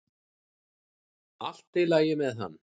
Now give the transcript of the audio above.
Allt í lagi með hann!